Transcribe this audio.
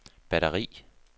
batteri